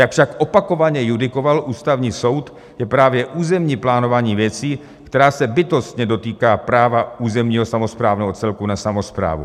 Jak však opakovaně judikoval Ústavní soud, je právě územní plánování věcí, která se bytostně dotýká práva územního samosprávného celku na samosprávu.